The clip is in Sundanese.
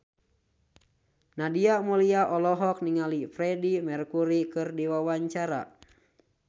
Nadia Mulya olohok ningali Freedie Mercury keur diwawancara